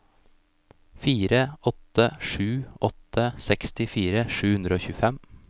fire åtte sju åtte sekstifire sju hundre og tjuefem